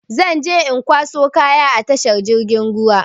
Zan je in kwaso kayan a tashar jirgin ruwa.